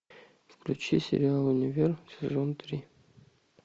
включи сериал универ сезон три